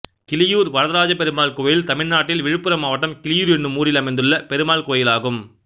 கிளியூர் வரதராஜப்பெருமாள் கோயில் தமிழ்நாட்டில் விழுப்புரம் மாவட்டம் கிளியூர் என்னும் ஊரில் அமைந்துள்ள பெருமாள் கோயிலாகும்